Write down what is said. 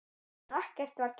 En ekkert var gert.